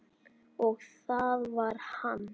Og það var hann.